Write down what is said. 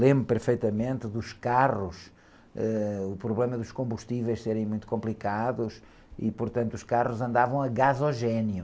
Lembro perfeitamente dos carros, ãh, o problema dos combustíveis serem muito complicados e, portanto, os carros andavam a gasogênio.